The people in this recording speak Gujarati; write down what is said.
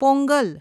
પોંગલ